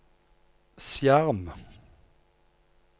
skjerm